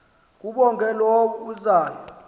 kabongwe low uzayo